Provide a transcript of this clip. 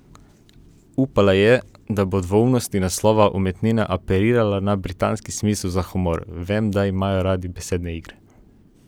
Upala pa je, da bo dvoumnost naslova umetnine apelirala na britanski smisel za humor: "Vem, da imajo radi besedne igre".